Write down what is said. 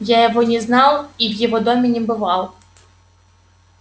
я его не знал и в его доме не бывал